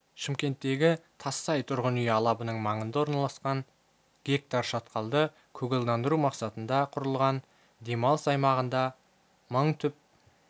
шымкенттегі тассай тұрғын үй алабының маңында орналасқан га шатқалды көгалдандыру мақсатында құрылған демалыс аймағында мың түп